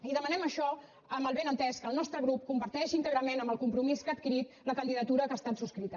i demanem això amb el benentès que el nostre grup comparteix íntegrament amb el compromís que ha adquirit la candidatura que ha estat subscrita